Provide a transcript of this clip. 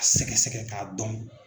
A sɛgɛsɛgɛ k'a dɔn.